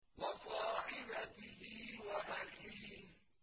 وَصَاحِبَتِهِ وَأَخِيهِ